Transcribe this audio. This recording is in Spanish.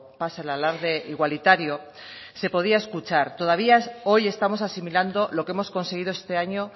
pasa el alarde igualitario se podía escuchar todavía hoy estamos asimilando lo que hemos conseguido este año